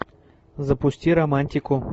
запусти романтику